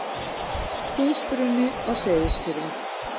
Húsbruni á Seyðisfirði.